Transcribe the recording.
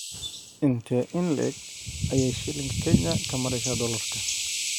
Intee in le'eg ayay shilinka Kenya ka maraysaa dollarka?